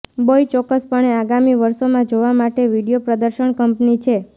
બોઇ ચોક્કસપણે આગામી વર્ષોમાં જોવા માટે વિડિઓ પ્રદર્શન કંપની છે